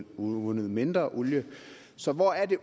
udvundet mindre olie så hvor er det